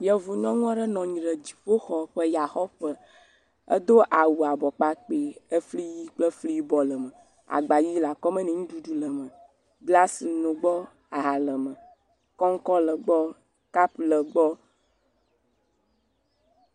Yevu nyɔnu aɖe nɔ anyi ɖe dziƒoxɔ ƒe yaxɔƒe edo awu abɔ kpakpe, efli ʋi kple fli yibɔ le eme agba ʋi le akɔme ne nuɖuɖu le eme, glasi nɔ gbɔ aha le me, koŋkɔ le egbɔ, kapu le egbɔ.